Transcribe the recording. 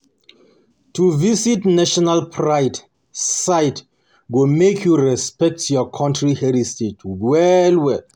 To visit national pride sites go make you respect your country heritage well well.